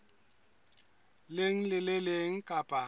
leng le le leng kapa